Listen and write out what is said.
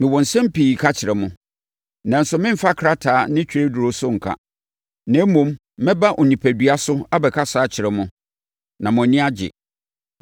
Mewɔ nsɛm pii ka kyerɛ mo, nanso meremfa krataa ne twerɛduro so nka. Na mmom, mɛba onipadua so abɛkasa akyerɛ mo, na mo ani agye.